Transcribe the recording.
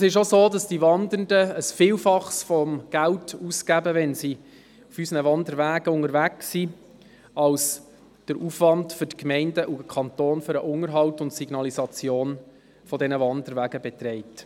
Die Wandernden geben ein Vielfaches des Geldes aus, wenn sie auf unseren Wanderwegen unterwegs sind, als der Aufwand für die Gemeinden und den Kanton für den Unterhalt und die Signalisation dieser Wanderwege beträgt.